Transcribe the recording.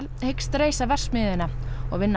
hyggst reisa verksmiðjuna og vinna